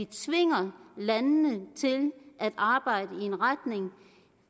tvinger landene til at arbejde i en retning